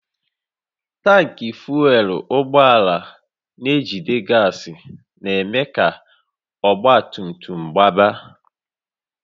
Tankị fuel ụgbọala na-ejide gas na-eme ka ọgba tum tum gbaba